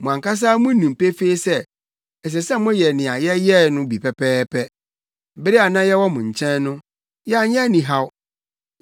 Mo ankasa munim pefee sɛ, ɛsɛ sɛ moyɛ nea yɛyɛe no bi pɛpɛɛpɛ. Bere a na yɛwɔ mo nkyɛn no, yɛanyɛ anihaw.